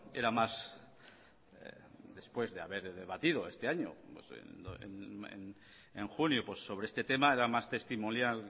era más después de haber debatido este año en junio sobre este tema era más testimonial